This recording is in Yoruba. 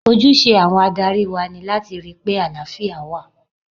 Ojúse àwọn adarí wa ni láti rí pé àlàáfíà wà.